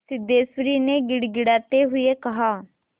सिद्धेश्वरी ने गिड़गिड़ाते हुए कहा